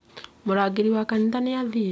Murangĩri wa kanitha nĩ arathiĩ